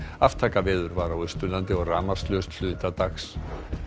aftakaveður var á Austurlandi og rafmagnslaust hluta dags